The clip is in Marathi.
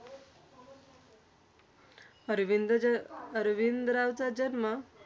अरविंद ज अरविंद रावचा जन्म